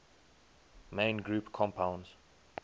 main group compounds